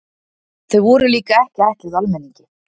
Þau voru líka ekki ætluð almenningi.